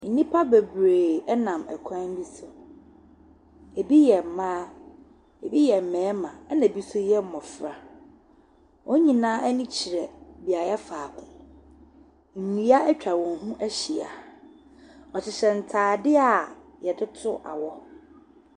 Nnipa bebree nam kwan bi so. Ɛbi yɛ mmaa, ɛbi yɛ mmarima, ɛna ɛbi nso yɛ mmɔfra. Wɔn nyinaa ani kyerɛ beaeɛ faako. Nnua atwa wɔn ho ahyia. Wɔhyehyɛ ntadeɛ a wɔde to awɔ.